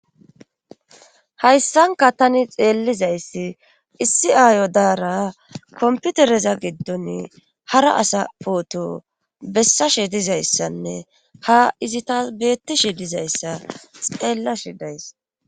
hayssanka tani xeellizayssi issi aayo daara komputereza giddon hara asa pooto bessashe dizayssanne ha izi taas beettishe dizayssa xeellashi days